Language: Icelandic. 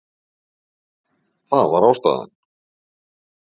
Það var ástæðan.